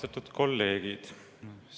Austatud kolleegid!